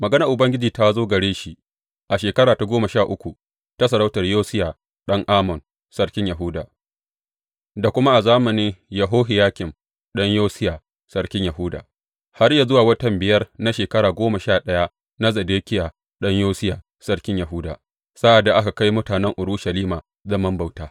Maganar Ubangiji ta zo gare shi a shekara ta goma sha uku ta sarautar Yosiya ɗan Amon sarkin Yahuda, da kuma a zamanin Yehohiyakim ɗan Yosiya sarkin Yahuda, har zuwa watan biyar na shekara goma sha ɗaya na Zedekiya ɗan Yosiya sarkin Yahuda, sa’ad da aka kai mutanen Urushalima zaman bauta.